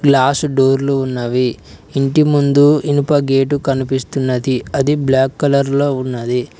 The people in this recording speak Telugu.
గ్లాస్ డోర్లు ఉన్నవి ఇంటి ముందు ఇనుప గేటు కనిపిస్తున్నది అది బ్లాక్ కలర్ లో ఉన్నది.